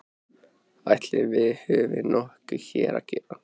Ætli við höfum nokkuð hér að gera?